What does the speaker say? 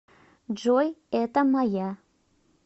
джой это моя